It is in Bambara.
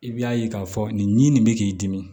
I bi'a ye k'a fɔ nin bɛ k'i dimi